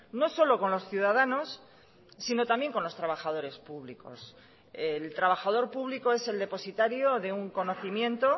no solo con los ciudadanos sino también con los trabajadores públicos el trabajador público es el depositario de un conocimiento